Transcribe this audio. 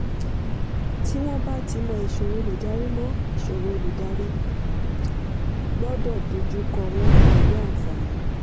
tí wọn bá ti mọ̀ ìṣòro olùdarí mọ̀ ìṣòro olùdarí gbọ́dọ̀ dojú kọ wọ́n pẹ̀lú àǹfààní.